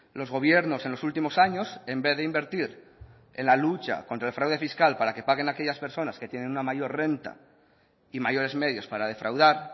los gobiernos en los últimos años en vez de invertir en la lucha contra el fraude fiscal para que paguen aquellas personas que tienen una mayor renta y mayores medios para defraudar